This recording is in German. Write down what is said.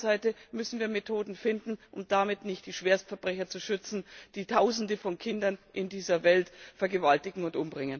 Auf der anderen Seite müssen wir Methoden finden, um damit nicht die Schwerstverbrecher zu schützen, die Tausende von Kindern in dieser Welt vergewaltigen und